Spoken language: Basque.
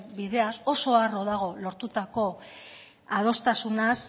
bideaz oso harro dago lortutako adostasunaz